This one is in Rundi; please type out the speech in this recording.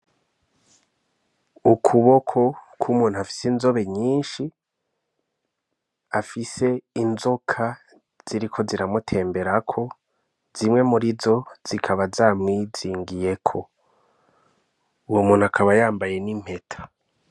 Ukuboko ku muntu afise inzobe nyishi afise inzoka ziriko zira mu temberako zimwe murizo zikaba za mwizingiriyeko uwo muntu akaba yambaye n'impeta.